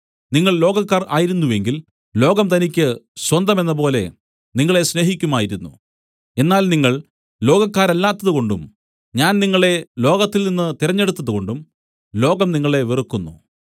നിങ്ങൾ ലോകക്കാർ ആയിരുന്നു എങ്കിൽ ലോകം തനിക്കു സ്വന്തമെന്നപോലെ നിങ്ങളെ സ്നേഹിക്കുമായിരുന്നു എന്നാൽ നിങ്ങൾ ലോകക്കാരല്ലാത്തതുകൊണ്ടും ഞാൻ നിങ്ങളെ ലോകത്തിൽ നിന്നു തിരഞ്ഞെടുത്തതുകൊണ്ടും ലോകം നിങ്ങളെ വെറുക്കുന്നു